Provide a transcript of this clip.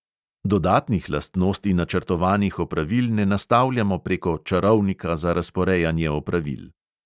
Dodatnih lastnosti načrtovanih opravil ne nastavljamo preko čarovnika za razporejanje opravil.